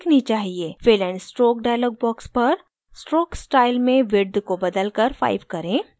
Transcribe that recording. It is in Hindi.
fill and stroke dialog box पर stroke style में width को बदलकर 5 करें